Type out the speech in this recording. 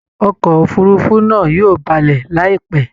Ọkọ̀ òfurufú náa yóò balẹ̀ láìpẹ́